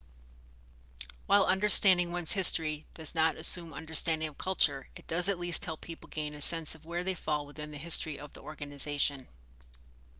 while understanding one's history does not assume understanding of culture it does at least help people gain a sense of where they fall within the history of the organization